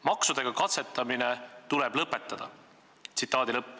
Maksudega katsetamine tuleb lõpetada.